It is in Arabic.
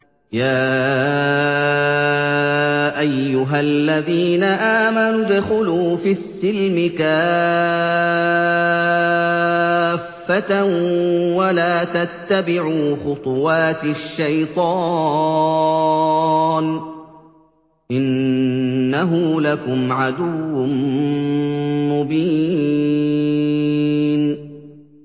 يَا أَيُّهَا الَّذِينَ آمَنُوا ادْخُلُوا فِي السِّلْمِ كَافَّةً وَلَا تَتَّبِعُوا خُطُوَاتِ الشَّيْطَانِ ۚ إِنَّهُ لَكُمْ عَدُوٌّ مُّبِينٌ